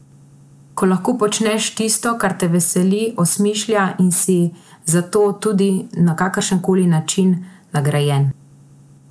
Ko lahko počneš tisto, kar te veseli, osmišlja, in si za to tudi, na kakršen koli način, nagrajen.